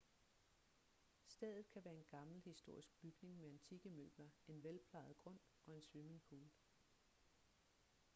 stedet kan være en gammel historisk bygning med antikke møbler en velplejet grund og en swimmingpool